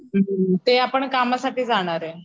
हम्म ते आपण कामसाठी जाणारे.